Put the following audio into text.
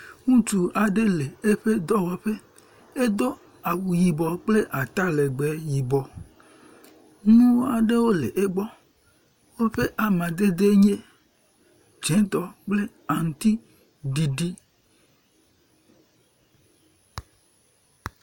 Ŋutsu aɖe le eƒe dɔwɔƒe. edo awu yibɔ kple atalegbe yibɔ. Nu aɖewo le egbɔ. Woƒe amadede nye dzetɔ kple aŋtiɖiɖi.